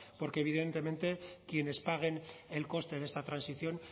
porque evidentemente quienes paguen el coste de esta transición